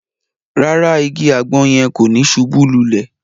Ràrá, ìgi àgbọn yẹn ko ni subú lulè